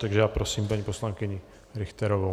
Takže já prosím paní poslankyni Richterovou.